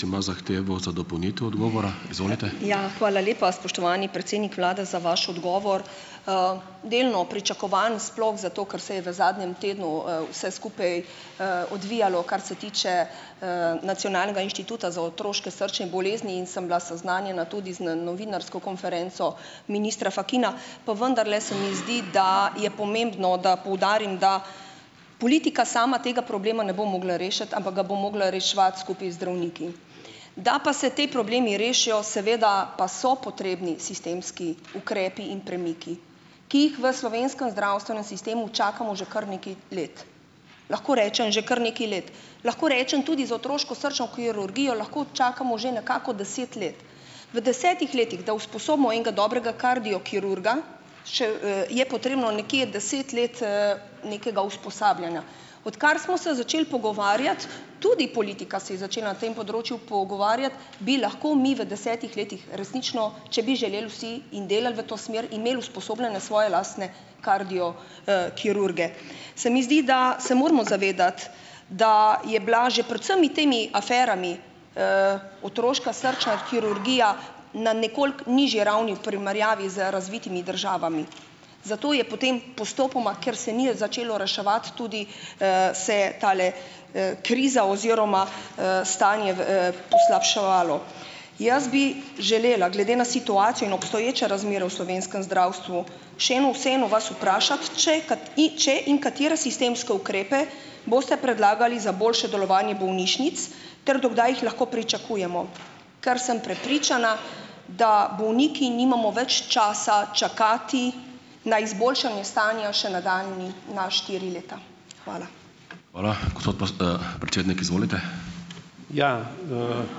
Ja, hvala lepa, spoštovani predsednik vlade, za vaš odgovor. Delno pričakovan, sploh zato, ker se je v zadnjem tednu, vse skupaj, odvijalo, kar se tiče, Nacionalnega inštituta za otroške srčne bolezni in sem bila seznanjena tudi z, novinarsko konferenco ministra Fakina, pa vendarle se mi zdi, da je pomembno, da poudarim, da politika sama tega problema ne bo mogla rešiti, ampak ga bo mogla reševati skupaj z zdravniki. Da pa se potem problemi rešijo, seveda pa so potrebni sistemski ukrepi in premiki, ki jih v slovenskem zdravstvenem sistemu čakamo že kar nekaj let. Lahko rečem že kar nekaj let, lahko rečem tudi z otroško srčno kirurgijo lahko čakamo že nekako deset let. V desetih letih, da usposobimo enega dobrega kardiokirurga, še, je potrebno nekje deset let, nekega usposabljanja. Odkar smo se začeli pogovarjati, tudi politika se je začela na tem področju pogovarjati, bi lahko mi v desetih letih resnično, če bi želel vsi in delali v to smer, imeli usposobljene svoje lastne kardio, kirurge. Se mi zdi, da se moramo zavedati, da je bila že pred vsemi temi aferami, otroška srčna kirurgija na nekoliko nižji ravni v primerjavi z razvitimi državami, zato je potem postopoma, ker se ni začelo reševati, tudi, se je tale, kriza oziroma, stanje v, poslabševalo. Jaz bi želela, glede na situacijo in obstoječe razmere v slovenskem zdravstvu, še eno, vseeno vas vprašati, če če in katere sistemske ukrepe boste predlagali za boljše delovanje bolnišnic ter do kdaj jih lahko pričakujemo. Ker sem prepričana, da bolniki nimamo več časa čakati na izboljšanje stanja še nadaljnji, na štiri leta. Hvala.